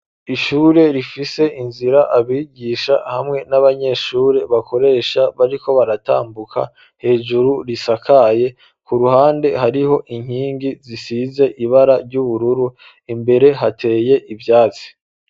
Ishure rifise inzira abigisha hamwe n'abanyeshure bakoresha bariko baratambuka hejuru risakaye ku ruhande hariho inkingi zisize ibara ry'ubururu imbere hateye ivyatsi.